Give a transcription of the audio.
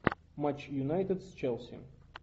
матч юнайтед с челси